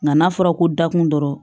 Nka n'a fɔra ko dakun dɔrɔn